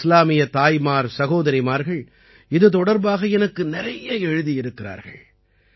நமது இஸ்லாமிய தாய்மார்சகோதரிமார்கள் இது தொடர்பாக எனக்கு நிறைய எழுதியிருக்கிறார்கள்